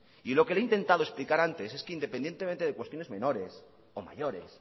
y lo que le he intentado explicar antes es que independientemente de cuestiones menores o mayores